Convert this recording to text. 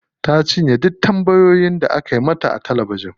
Ta cinye duk tambayoyin da aka mata a talabijin.